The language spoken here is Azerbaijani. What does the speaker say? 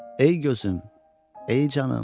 Ey gözüm, ey canım.